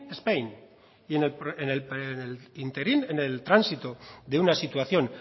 spain en el tránsito de una situación